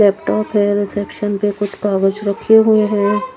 Laptop हैं reception पे कुछ कागज़ रखे हुए हैं।